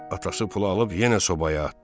Atası pulu alıb yenə sobaya atdı.